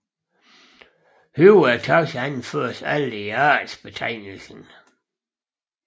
Højere taxa anføres aldrig i artsbetegnelsen